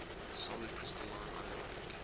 solid crystalline ionic